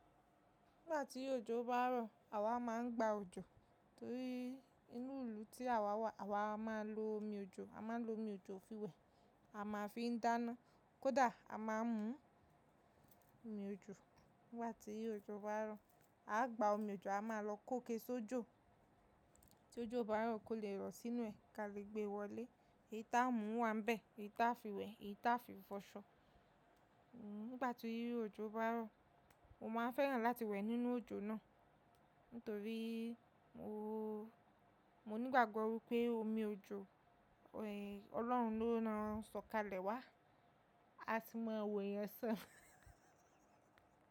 Nígbà tí òjò bá rọ̀, àwa má ń gba òjò torí inú ìlú tí àwa wà, àwa máa ń lo omi òjò. A máa ń lo omi òjò fi wẹ̀, a máa fi ń dáná. Kódà a máa ń mu omi òjò. Nígbà tí òjò bá rọ̀, a gba omi òjò, a máa lọ kóke sójò tí òjò bá rọ̀ kó lè rọ̀ sínú ẹ̀ ka lè gbé wọlé. Èyí tá a ń mu wà níbẹ̀, èyí tá a fi wẹ̀, èyí tá a fi fọṣọ. Hmm, nígbà tí òjò bá rọ̀, mo má n fẹ́ràn láti wẹ̀ nínú òjò náà nítorí mo, mo nígbàgbọ́ wipé omi òjò ẹ Ọlọ́run ló ran sọ̀kalẹ̀ wá. A sì mọ wo eeyan san.